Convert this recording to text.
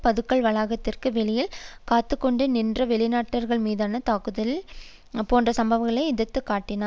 பதுக்கல் வளாகத்திற்கு வெளியில் காத்து கொண்டு நின்ற வெளிநாட்டவர் மீதான தாக்குதல் போன்ற சம்பவங்களை எடுத்து காட்டினார்